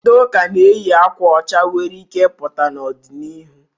Ndị ụka na-eyi akwa ọcha nwere ike i pụtakwa n'ọdị na'ihụ.